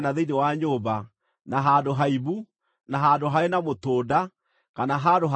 na handũ haimbu, na handũ harĩ na mũtũnda, kana handũ hakaragacũku,